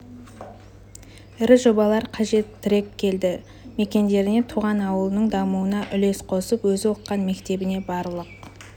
ірі жобалар қажет тірек елді мекендеріне туған ауылының дамуына үлес қосып өзі оқыған мектебіне барлық